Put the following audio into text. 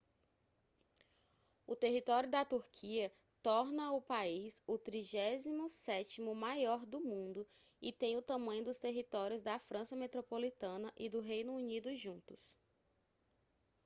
o território da turquia torna o país o 37º maior do mundo e tem o tamanho dos territórios da frança metropolitana e do reino unido juntos